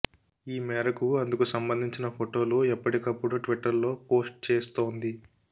ఈ మేరకు అందుకు సంబందించిన ఫోటోలు ఎప్పటికప్పుడు ట్విట్టర్ లో పోస్ట్ చేస్తోంది